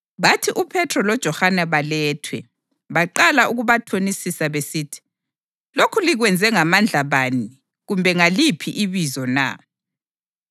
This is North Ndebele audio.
Bathi uPhethro loJohane balethwe, baqala ukubathonisa besithi, “Lokhu likwenze ngamandla bani kumbe ngaliphi ibizo na?”